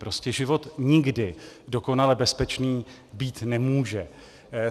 Prostě život nikdy dokonale bezpečný být nemůže.